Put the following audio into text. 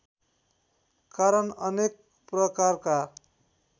कारण अनेक प्रकारका